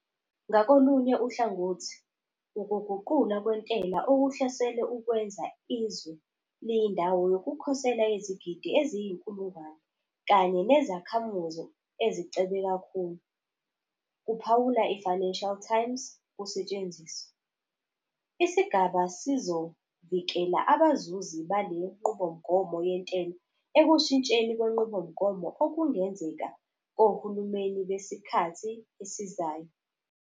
Ngakolunye uhlangothi, ukuguqulwa kwentela okuhloselwe ukwenza izwe "liyindawo yokukhosela yezigidi eziyizinkulungwane kanye nezakhamuzi ezicebe kakhulu", kuphawula i-Financial Times, kusetshenziswa. Isigaba sizovikela abazuzi bale nqubomgomo yentela ekushintsheni kwenqubomgomo okungenzeka kohulumeni besikhathi esizayo.